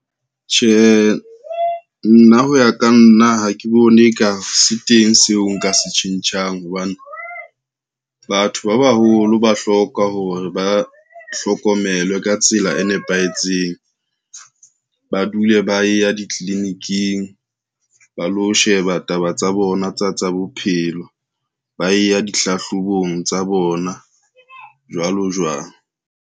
Tjhe, nna ho ya ka nna ha ke bone ka se teng seo nka se tjhentjhang hobane, batho ba baholo ba hloka hore ba hlokomelwe ka tsela e nepahetseng. Ba dule ba ya ditliliniking ba lo sheba taba tsa bona tsa, tsa bophelo ba e ya dihlahlobong tsa bona, jwalo jwalo.